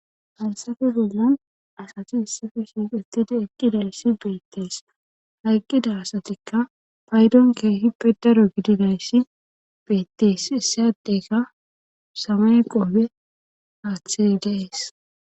hayssafe bollan asati issife shiiqettidi eqqidayssi beettees hayqqida asatikka paydon keehip pedaro gididayssi beettes issayadeyka samay qoofe haathii deees